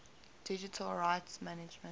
digital rights management